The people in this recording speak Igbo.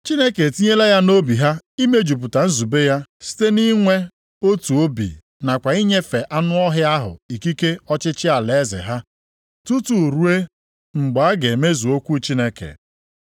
Chineke etinyela ya nʼobi ha imejupụta nzube ya site nʼinwe otu obi nakwa inyefe anụ ọhịa ahụ ikike ọchịchị alaeze ha, tutu ruo mgbe a ga-emezu okwu Chineke.